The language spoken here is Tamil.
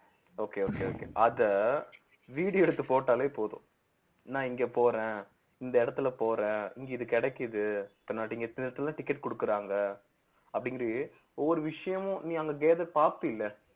okay okay okay அத video எடுத்து போட்டாலே போதும் நான் இங்க போறேன் இந்த இடத்துல போறேன் இங்க இது கிடைக்குது ticket குடுக்குறாங்க அப்படிங்கிற ஒவ்வொரு விஷயமும் நீ அங்க gather பார்ப்பில